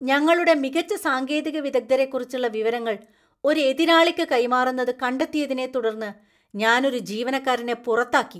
ഞങ്ങളുടെ മികച്ച സാങ്കേതിക വിദഗ്ധരെക്കുറിച്ചുള്ള വിവരങ്ങൾ ഒരു എതിരാളിക്ക് കൈമാറുന്നത് കണ്ടത്തിയതിനെത്തുടർന്ന് ഞാൻ ഒരു ജീവനക്കാരനെ പുറത്താക്കി.